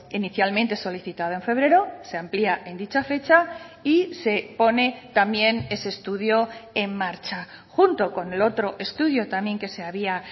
inicialmente solicitado en febrero se amplía en dicha fecha y se pone también ese estudio en marcha junto con el otro estudio también que se había